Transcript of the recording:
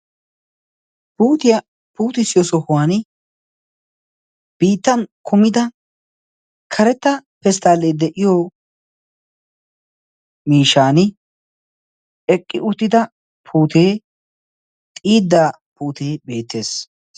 Puutiyaa puutisiyo sohuwan biittan kumida karetta pesttaallee de'iyo miishan eqqi uttida puutee xiiddaa puutee beettees.